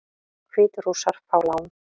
Hvítrússar fá lán